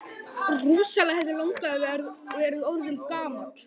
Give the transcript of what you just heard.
Rosalega hefði langafi verið orðinn gamall!